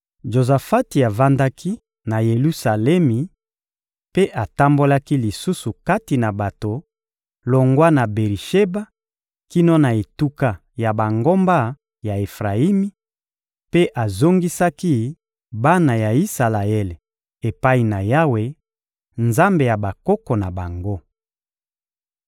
Jozafati avandaki na Yelusalemi mpe atambolaki lisusu kati na bato longwa na Beri-Sheba kino na etuka ya bangomba ya Efrayimi, mpe azongisaki bana ya Isalaele epai na Yawe, Nzambe ya bakoko na bango.